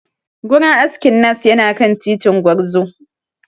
Gurin askin Nass yana kan titin Gwarzo.